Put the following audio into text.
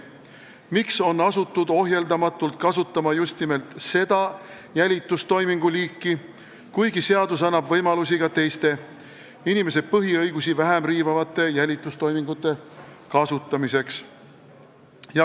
Miks on asutud ohjeldamatult kasutama just nimelt seda jälitustoimingu liiki, kuigi seadus annab võimalusi ka teiste, inimese põhiõigusi vähem riivavate jälitustoimingute kasutamiseks?